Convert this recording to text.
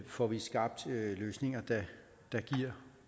får vi skabt løsninger der giver